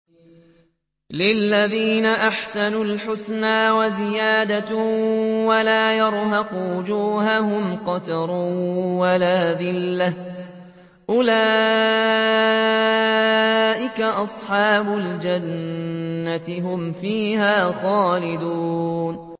۞ لِّلَّذِينَ أَحْسَنُوا الْحُسْنَىٰ وَزِيَادَةٌ ۖ وَلَا يَرْهَقُ وُجُوهَهُمْ قَتَرٌ وَلَا ذِلَّةٌ ۚ أُولَٰئِكَ أَصْحَابُ الْجَنَّةِ ۖ هُمْ فِيهَا خَالِدُونَ